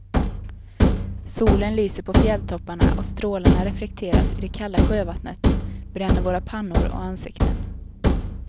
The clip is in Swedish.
Solen lyser på fjälltopparna och strålarna reflekteras i det kalla sjövattnet, bränner våra pannor och ansikten.